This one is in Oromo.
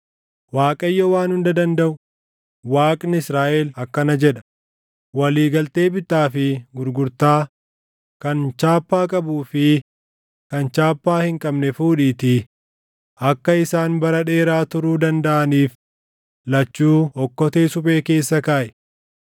‘ Waaqayyo Waan Hunda Dandaʼu, Waaqni Israaʼel akkana jedha: walii galtee bittaa fi gurgurtaa kan chaappaa qabuu fi kan chaappaa hin qabne fuudhiitii akka isaan bara dheeraa turuu dandaʼaniif lachuu okkotee suphee keessa kaaʼi.